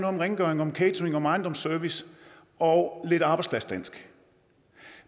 om rengøring om catering om ejendomsservice og lidt arbejdspladsdansk